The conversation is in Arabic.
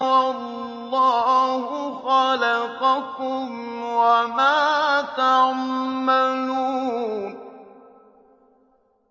وَاللَّهُ خَلَقَكُمْ وَمَا تَعْمَلُونَ